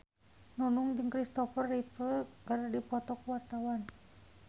Nunung jeung Christopher Reeve keur dipoto ku wartawan